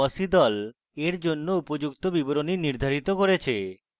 fossee the এর জন্য উপযুক্ত বিবরণী নির্ধারিত করেছে